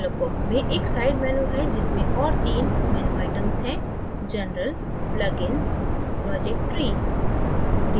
dialog box में एक side menu है जिसमें और तीन menu items हैं